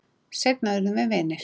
Seinna urðum við vinir.